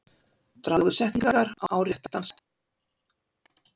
Dragðu setningar á rétta staði.